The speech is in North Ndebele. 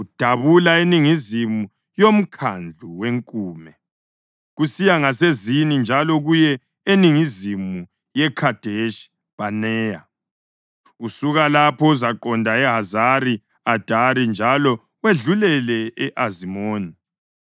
udabula eningizimu yoMkhandlu weNkume, kusiya ngaseZini njalo kuye eningizimu yeKhadeshi Bhaneya. Usuka lapho uzaqonda eHazari Adari njalo wedlulele e-Azimoni,